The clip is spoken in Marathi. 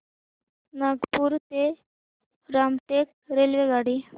नागपूर ते रामटेक रेल्वेगाडी